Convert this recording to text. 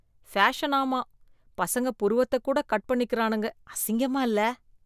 ஃபேஷனாமா, பசங்க புருவத்தக் கூட கட் பண்ணிக்கறானுங்க, அசிங்கமா இல்ல?